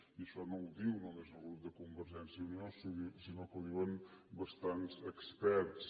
i això no ho diu només el grup de convergència i unió sinó que ho diuen bastants experts